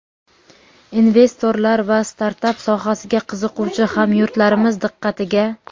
Investorlar va startap sohasiga qiziquvchi hamyurtlarimiz diqqatiga!.